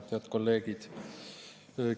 Head kolleegid!